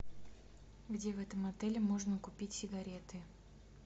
где в этом отеле можно купить сигареты